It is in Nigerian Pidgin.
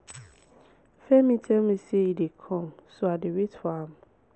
femi tell me say e dey come so i dey wait for am